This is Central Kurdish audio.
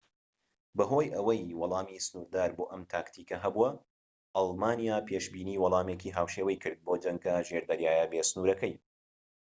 بەهۆی ئەوەی وەڵامی سنووردار بۆ ئەم تاکتیکە هەبوو ئەڵمانیا پێشبینی وەڵامێکی هاوشێوەی کرد بۆ جەنگە ژێردەریاییە بێ سنوورەکەی